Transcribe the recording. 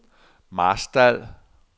Marstal